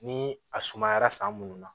Ni a sumayara san munnu na